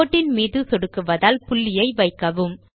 கோட்டின் மீது சொடுக்குவதால் புள்ளியை வைக்கவும்